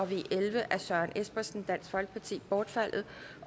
v elleve af søren espersen bortfaldet